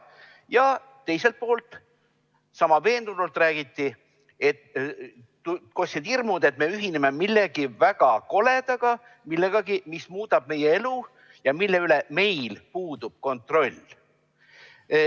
Ja teiselt poolt, sama veendunult räägiti hirmudest, et me ühineme millegi väga koledaga, millegi sellisega, mis muudab meie elu ja mille üle meil puudub kontroll.